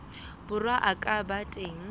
borwa a ka ba teng